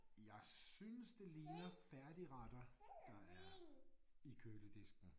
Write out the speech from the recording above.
Jeg synes det ligner færdigretter der er i køledisken